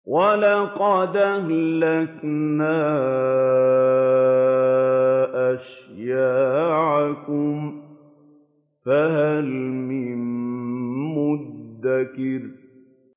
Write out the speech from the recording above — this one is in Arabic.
وَلَقَدْ أَهْلَكْنَا أَشْيَاعَكُمْ فَهَلْ مِن مُّدَّكِرٍ